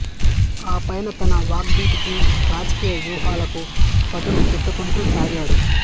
ఆపైన తన వాగ్ధాటికి రాజకీయ వ్యూహాలకు పదును పెట్టుకుంటూ సాగాడు